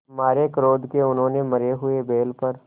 मारे क्रोध के उन्होंने मरे हुए बैल पर